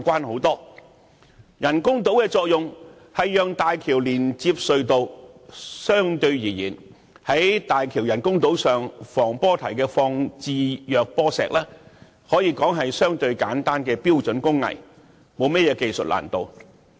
其人工島的作用是讓大橋連接隧道，在大橋人工島防波堤放置弱波石，可說是相對簡單的標準工藝，並沒有技術難度。